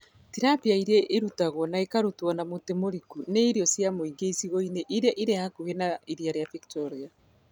Tilapia ĩrĩa ĩhũtagwo na ĩkarutwo na mũtu mũriku nĩ irio cia mũingĩ icigo-inĩ iria irĩ hakuhĩ na iria rĩa Victoria.